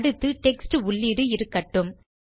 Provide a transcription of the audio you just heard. அடுத்து டெக்ஸ்ட் உள்ளீடு இருக்கட்டும்